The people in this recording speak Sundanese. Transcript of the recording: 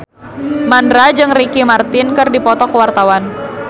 Mandra jeung Ricky Martin keur dipoto ku wartawan